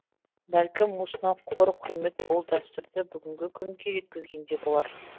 бәлкім осынау қор құрмет бұл дәстүрді бүгінгі күнге жеткізген де болар